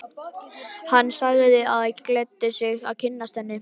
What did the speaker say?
Hann sagði það gleddi sig að kynnast henni.